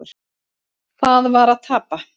Það var að tapa.